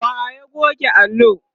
wa ya goge allo?